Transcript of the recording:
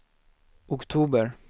oktober